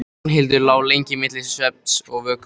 Ragnhildur lá lengi milli svefns og vöku.